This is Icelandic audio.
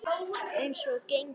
Eins og gengur.